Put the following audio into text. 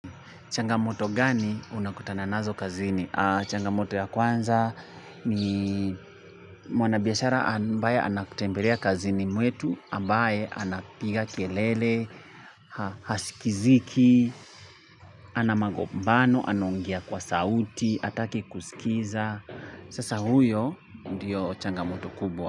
Changamoto gani unakutana nazo kazini? Changamoto ya kwanza ni mwanabiashara ambaye anakutembelea kazini mwetu ambaye anapiga kelele, hasikiziki, anamagobano, anongea kwa sauti, atake kusikiza. Sasa huyo ndiyo changamoto kubwa.